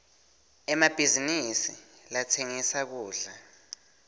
emabhizinisi latsengisa kudla